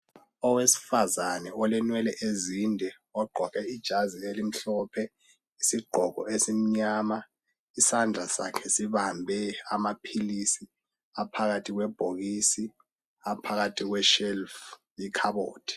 Owesifazana olenwele ezinde ogqoke ijazi elimhlophe lesigqoko esimnyama isandla sakhe sibambe amaphilisi aphakathi kwebhokisi aphakathi kweshelf ikhabothi.